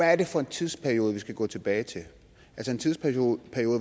er det for en tidsperiode vi skal gå tilbage til en tidsperiode